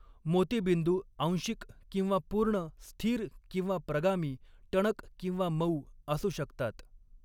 मोतीबिंदू आंशिक किंवा पूर्ण, स्थिर किंवा प्रगामी, टणक किंवा मऊ असू शकतात.